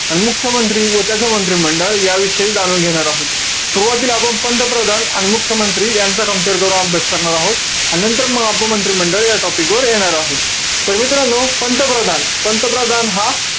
अन मुख्यमंत्री व त्याच मंत्रिमंडळ, याविषयी जाणून घेणार आहोत. सुरवातीला आपण, पंतप्रधान आणि मुख्यमंत्री यांचं compare करून अभ्यास करणार आहोत. आणि नंतर मग आपण मंत्रिमंडळ या topic वर येणार आहोत. तर मित्रांनो, पंतप्रधान, पंतप्रधान हा,